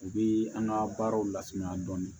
U bi an ka baaraw lasumaya dɔɔnin